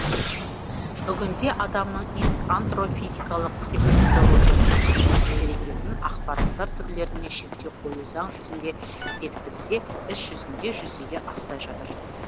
бүгінде адамның антро физикалық психо неврологиясына қатты әсер ететін ақпараттар түрлеріне шектеу қою заң жүзінде бекітілсе іс жүзінде жүзеге аспай жатыр